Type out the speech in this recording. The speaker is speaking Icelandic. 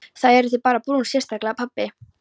Þið eruð bara brún, sérstaklega pabbi.